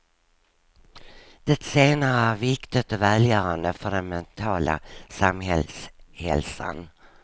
Det senare är viktigt och välgörande för den mentala samhällshälsan.